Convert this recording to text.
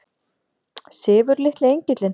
Sefur litli engillinn?